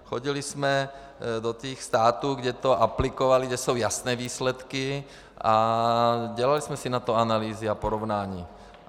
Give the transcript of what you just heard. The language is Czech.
Odjeli jsme do těch států, kde to aplikovali, kde jsou jasné výsledky, a dělali jsme si na to analýzy a porovnání.